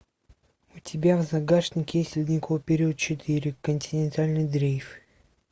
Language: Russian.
у тебя в загашнике есть ледниковый период четыре континентальный дрейф